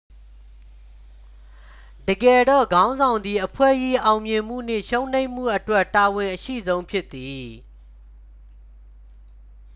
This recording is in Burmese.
တကယ်တော့ ခေါင်းဆောင်သည် အဖွဲ့၏ အောင်မြင်မှုနှင့် ရှုံးနိမ့်မှုအတွက် တာဝန်အရှိဆုံးဖြစ်သည်